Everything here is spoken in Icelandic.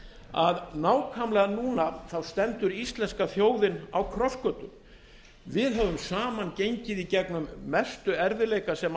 að nákvæmlega núna stendur íslenska þjóðin á krossgötum við höfum saman gengið í gegnum mestu erfiðleika sem